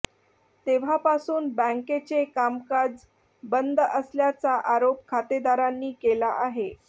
तेव्हापासून बँकेचे कामकाज बंद असल्याचा आरोप खातेदारांनी केला आहे